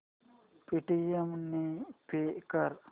Paytm ने pay कर